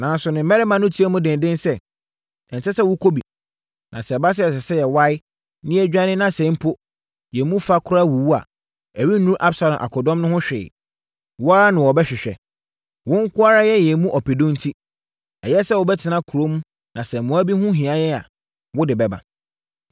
Nanso, ne mmarima no tiaa mu dendeenden sɛ, “Ɛnsɛ sɛ wokɔ bi. Na sɛ ɛba sɛ, ɛsɛ sɛ yɛwae, na yɛdwane, na sɛ mpo, yɛn mu fa koraa wuwu a, ɛrennuru Absalom akodɔm no ho hwee. Wo ara na wɔbɛhwehwɛ. Wo nko ara yɛ yɛn mu ɔpedu enti, ɛyɛ sɛ wobɛtena kurom na sɛ mmoa bi ho hia yɛn a, wode bɛba.”